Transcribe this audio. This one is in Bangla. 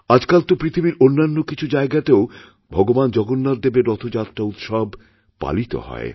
আজকাল তো পৃথিবীর অন্যান্য কিছু জায়গাতেও ভগবান জগন্নাথদেবের রথযাত্রা উৎসবপালিত হয়